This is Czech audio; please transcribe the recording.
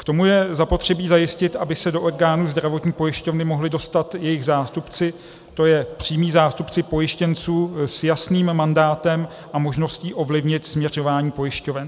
K tomu je zapotřebí zajistit, aby se do orgánů zdravotní pojišťovny mohli dostat jejich zástupci, to je přímí zástupci pojištěnců s jasným mandátem a možností ovlivnit směřování pojišťoven.